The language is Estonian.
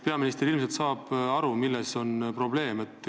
Peaminister saab ilmselt aru, milles on probleem.